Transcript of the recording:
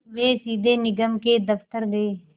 वे सीधे निगम के दफ़्तर गए